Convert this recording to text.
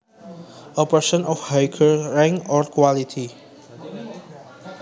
A person of higher rank or quality